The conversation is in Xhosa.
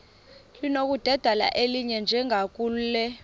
linokudedela elinye njengakule